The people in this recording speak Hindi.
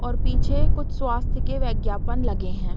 और पीछे कुछ स्वास्थ्य के वैज्ञापन लगे हैं।